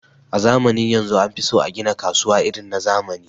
a zamanin yanzu anfiso agina kasuwa irin na zamani